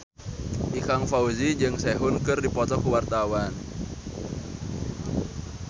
Ikang Fawzi jeung Sehun keur dipoto ku wartawan